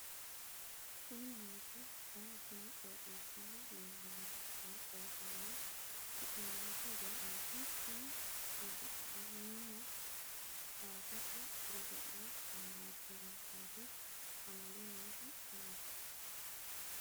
kuni maati ? danu kuni qooxeessaho leellannohu maa xawisanno su'mu maati woy ayeti ? tini uddi'nanninna kuwasete godo'le malaatensaati amade noohu ayeeti?